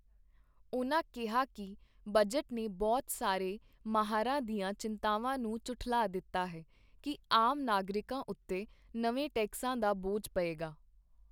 ਉਨ੍ਹਾਂ ਕਿਹਾ ਕਿ ਬਜਟ ਨੇ ਬਹੁਤ ਸਾਰੇ ਮਾਹਰਾਂ ਦੀਆਂ ਚਿੰਤਾਵਾਂ ਨੂੰ ਝੁਠਲਾ ਦਿੱਤਾ ਹੈ ਕਿ ਆਮ ਨਾਗਰਿਕਾਂ ਉੱਤੇ ਨਵੇਂ ਟੈਕਸਾਂ ਦਾ ਬੋਝ ਪਏਗਾ।